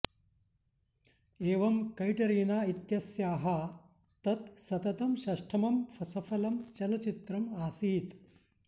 एवं कैटरीना इत्यस्याः तत् सततं षष्ठमं सफलं चलच्चित्रम् आसीत्